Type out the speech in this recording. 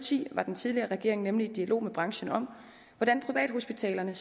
ti var den tidligere regering nemlig i dialog med branchen om hvordan privathospitalerne